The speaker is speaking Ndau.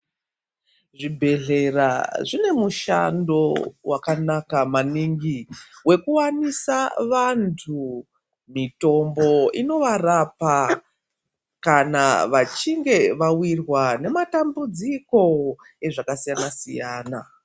Zvibhedhlera zvine mushando wakanaka maningi wekuwanisa vantu mitombo inovarapa kana vachinge vawirwa nematambudziko ezvakasiyana-siyana.